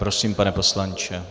Prosím, pane poslanče.